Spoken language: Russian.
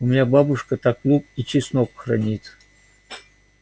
у меня бабушка так лук и чеснок хранит